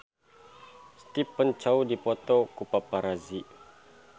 Stephen Chow dipoto ku paparazi